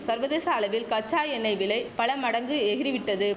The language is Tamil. சர்வதேச அளவில் கச்சா எண்ணெய் விலை பல மடங்கு எகிறி விட்டது